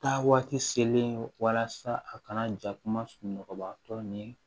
Taa waati seleke walasa a kana ja kumabatɔ ni